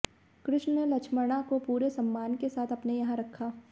कृष्ण ने लक्ष्मणा को पूरे सम्मान के साथ अपने यहां रखा